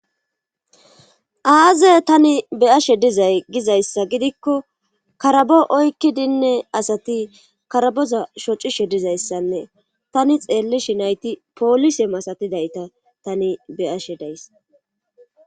aaze tani beyashe dizay gizayssa gidikko karabo oykki dinne asati karaboza shocishe dizayssanne tani xeellishi nayti poolise masatidayta tani beyashe days